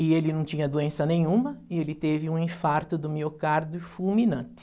E ele não tinha doença nenhuma e ele teve um infarto do miocárdio fulminante.